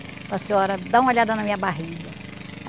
Com a senhora, dá uma olhada na minha barriga.